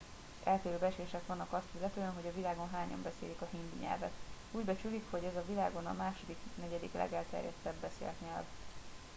eltérő becslések vannak azt illetően hogy a világon hányan beszélik a hindi nyelvet úgy becsülik hogy ez a világon a második negyedik legelterjedtebb beszélt nyelv